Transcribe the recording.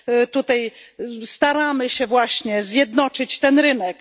tutaj staramy się właśnie zjednoczyć ten rynek.